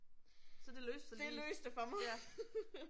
Så det løste sig ligesom. Ja